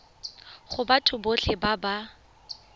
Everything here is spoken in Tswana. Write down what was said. go batho botlhe ba ba